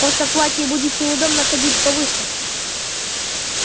просто в платье будет неудобно ходить по выставке